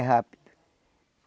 É rápido.